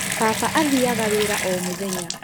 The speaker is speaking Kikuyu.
Baba athiaga wĩra o mũthenya